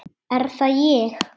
Er það ég?